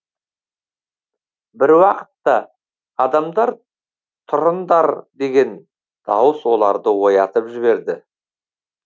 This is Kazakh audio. бір уақытта адамдар тұрындар деген дауыс оларды оятып жіберді